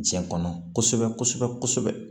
Jɛn kɔnɔ kosɛbɛ kosɛbɛ